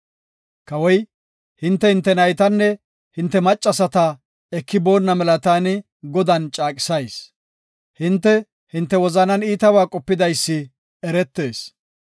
Kawoy, “Hinte hinte naytanne hinte maccasata eki boonna mela taani Godan caaqisayis. Hinte hinte wozanan iitaba qopidaysi eretees.